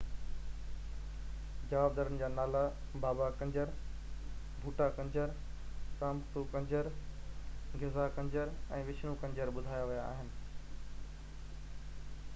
جوابدارن جا نالا بابا ڪنجر ڀوٺا ڪنجر رامپرو ڪنجر غزا ڪنجر ۽ وشنو ڪنجر ٻڌايا ويا آهن